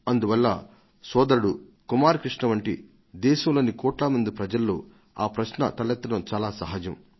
అందువల్ల సోదరుడు కుమార్ కృష్ణ వంటి దేశంలోని కోట్ల మంది ప్రజల్లో ఈ ప్రశ్న తలెత్తడం చాలా సహజం